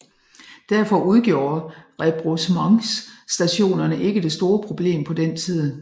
Derfor udgjorde rebroussementsstationerne ikke det store problem på den tid